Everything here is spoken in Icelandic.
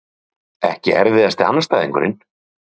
Atli Sveinn Þórarinsson Ekki erfiðasti andstæðingur?